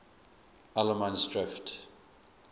allemansdrift